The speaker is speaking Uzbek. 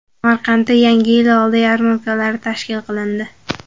Samarqandda Yangi yil oldi yarmarkalari tashkil qilindi.